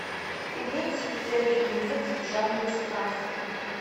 имеется ли у тебя фильмец в жанре сказка